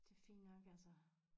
Det fint nok altså